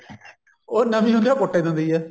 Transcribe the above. ਉਹ ਨਵੀਂ ਹੁੰਦੀ ਹੈ ਉਹ ਕੁੱਟ ਹੀ ਦਿੰਦੀ ਐ